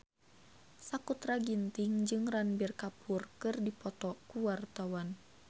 Sakutra Ginting jeung Ranbir Kapoor keur dipoto ku wartawan